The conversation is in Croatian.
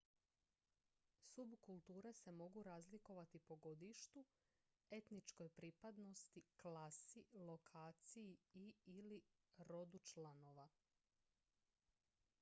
subkulture se mogu razlikovati po godištu etničkoj pripadnosti klasi lokaciji i/ili rodu članova